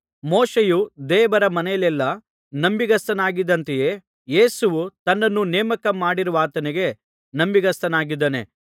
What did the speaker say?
ಮೋಶೆಯು ದೇವರ ಮನೆಯಲ್ಲೆಲ್ಲಾ ನಂಬಿಗಸ್ತನಾಗಿದ್ದಂತೆಯೇ ಯೇಸುವೂ ತನ್ನನ್ನು ನೇಮಕ ಮಾಡಿರುವಾತನಿಗೆ ನಂಬಿಗಸ್ತನಾಗಿದ್ದಾನೆ